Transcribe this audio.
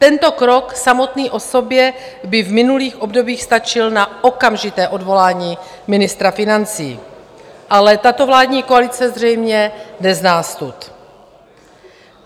Tento krok samotný o sobě by v minulých obdobích stačil na okamžité odvolání ministra financí, ale tato vládní koalice zřejmě nezná stud.